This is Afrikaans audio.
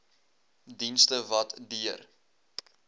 dienste wat deur